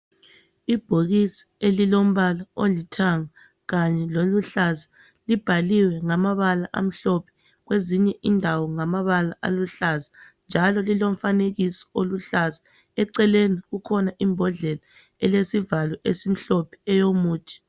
ibhokisi elilombala olithanga kanye lolihlaza ubhaliwe kwezinye indawo ngamabala aluhlaza njalo lilomfanekiso oluhlaza eceleni kukhona imbodlela elesivalo esimhlophe eyomuthi